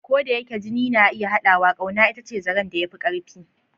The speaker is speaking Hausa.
Ko da yake jini na iya haɗawa, ƙauna ita ce zaren da ya fi ƙarfi.